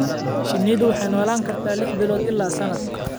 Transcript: Shinnidu waxay noolaan kartaa lix bilood ilaa sanad.